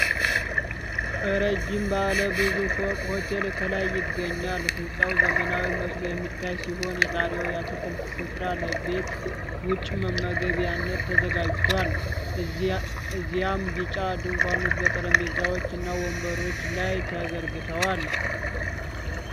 ረዥም ባለ ብዙ ፎቅ ሆቴል ከላይ ይገኛል። ሕንፃው ዘመናዊ መስሎ የሚታይ ሲሆን የጣሪያው የአትክልት ስፍራ ለቤት ውጭ መመገቢያነት ተዘጋጅቷል። እዚያም ቢጫ ድንኳኖች በጠረጴዛዎች እና ወንበሮች ላይ ተዘርግተዋል።